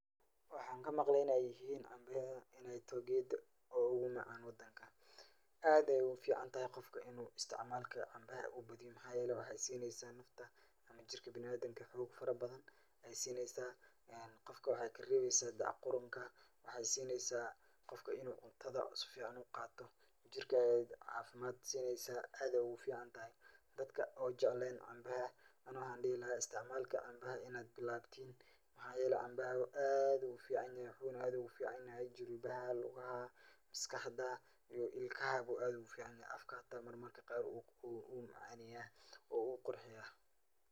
Waxan kamaqlay inay yihin cambayahan inayto geedo ogu macaan wadanka aad ayay uficantahay qofka In u badiyo isticmaalka cambaha uu badiyo maxa yele waxay sineysa nafta ama jirka bini adamka xog fara badan ay sineysa qofka waxay kareebeysa deeca qurunka waxay sineysa qofka inu cuntada si fican uqaato jirka ay caafimad sineysa aad ay ogu ficantahay. dadka oo jeclen cambaha ani waxan dhihi laha isticmaalka cambaha inad bilawdin maxayele cambaha aad ayu ufican yahay wuxuna aad ogu fican yahay jilbaha, maskaxda iyo ilkaha ayuu aad ogu fican yahay hata mararka qar u macaaneya oo wuu qurxiya